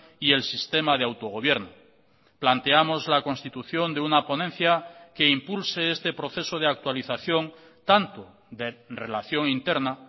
y el sistema de autogobierno planteamos la constitución de una ponencia que impulse este proceso de actualización tanto de relación interna